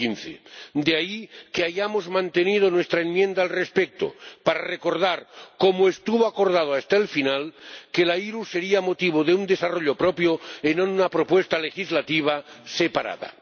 2015. De ahí que hayamos mantenido nuestra enmienda al respecto, para recordar, como estuvo acordado hasta el final, que la IRU sería objeto de un desarrollo propio, en una propuesta legislativa separada.